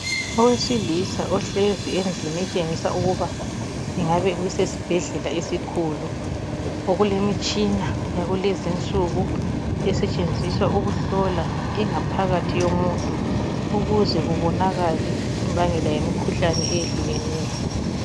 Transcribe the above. Owesilisa ohlezi endlini etshengisa ukuba kungabe kusesibhedlela esikhulu okulemitshina yakulezi insuku esetshenziswa ukuhlola ingaphakathi yomuntu ukuze kubonakale imbangela yemikhuhlane eyehlukeneyo.